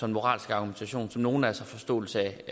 en moralsk argumentation som nogle af os har forståelse